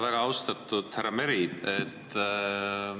Väga austatud härra Meri!